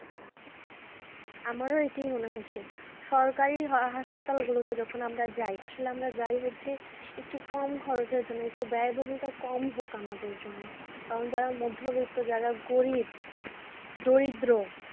আমারও এটাই মনে হচ্ছে সরকারি হাসপাত যখন আমরা যাই আসলে আমরা যাই হচ্ছি, একটু কম খরচের জন্য ব্যয়বহুলটা কম হোক আমাদের জন্য কারণ যারা মধ্যবিত্ত যারা গরিব দরিদ্র